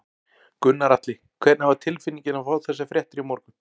Gunnar Atli: Hvernig var tilfinningin að fá þessar fréttir í morgun?